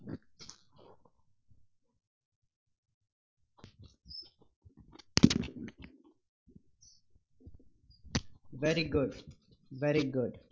very good very good